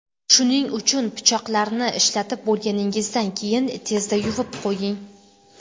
Shuning uchun pichoqlarni ishlatib bo‘lganingizdan keyin tezda yuvib qo‘ying.